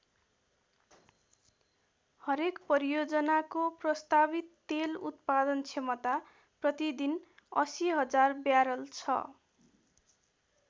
हरेक परियोजनाको प्रस्तावित तेल उत्पादन क्षमता प्रतिदिन ८०००० ब्यारल छ।